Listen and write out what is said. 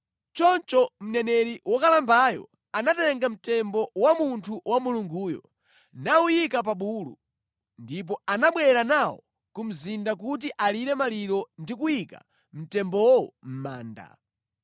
Choncho mneneri wokalambayo anatenga mtembo wa munthu wa Mulunguyo, nawuyika pa bulu, ndipo anabwera nawo ku mzinda kuti alire maliro ndi kuyika mtembowo mʼmanda.